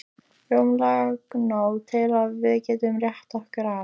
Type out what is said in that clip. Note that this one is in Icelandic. Rúmlega nóg til að við getum rétt okkur af.